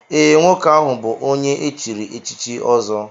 Ee, nwoke ahụ bụ onye e chiri echichi ọzọ